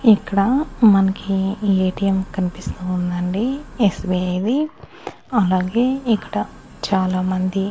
ఇక్కడ మన్కి ఏ_టీ_ఎం కనిపిస్తూ ఉందండి ఎస్_బి_ఐ ది అలాగే ఇక్కడ చాలామంది--